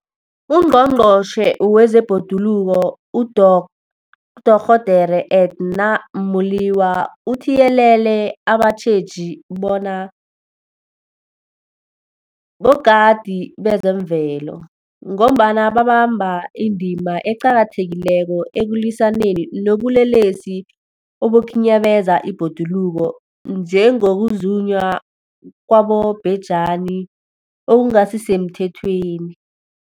UNgqongqotjhe wezeBhoduluko uDorh Edna Molewa uthiyelele abatjheji bona bogadi bezemvelo, ngombana babamba indima eqakathekileko ekulwisaneni nobulelesi obukhinyabeza ibhoduluko, njengokuzunywa kwabobhejani okungasisemthethweni.